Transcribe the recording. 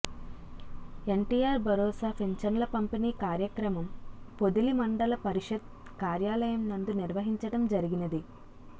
యన్టీఆర్ భరోసా పింఛన్ల పంపిణీ కార్యక్రమం పొదిలి మండల పరిషత్ కార్యాలయం నందు నిర్వహించడం జరిగినది